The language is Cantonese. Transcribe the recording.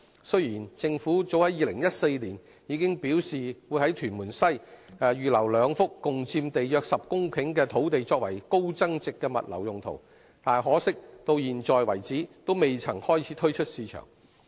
雖然政府早於2014年表示會在屯門西，預留兩幅共佔地約10公頃的土地作為高增值的物流用途，但可惜，至今為止仍未開始推出市場。